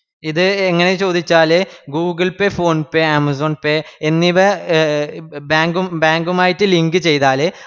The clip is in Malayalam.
ഇത് ഇങ്ങനെ ചോദിച്ചാല് google pay, phone pe, amazon pay എന്നിവ bank ഉം bank ഉമായിട്ട് link ചെയ്താല്